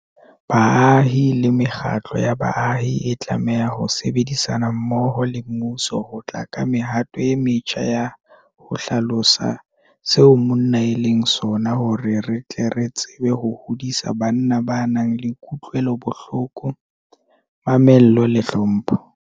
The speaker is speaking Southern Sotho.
Baahi le mekgatlo ya baahi e tlameha ho sebedisana mmoho le mmuso ho tla ka mehato e metjha ya ho hlalosa seo monna e leng sona hore re tle re tsebe ho hodisa banna ba nang le kutlwelobohloko, mamello le tlhompho.